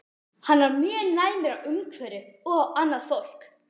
Hann var mjög næmur á umhverfið og á annað fólk.